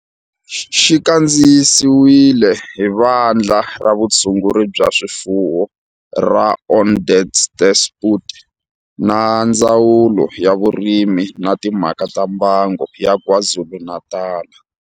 Xi kandziyisiwe hi Vandla ra Vutshunguri bya swifuwo ra Vandla ra Vutshunguri bya swifuwo ra Onderstepoort na Ndzawulo ya Vurimi na Timhaka ta Mbango ya KwaZulu-Natal.